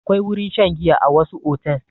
Akwai wurin shan giya a wasu otel.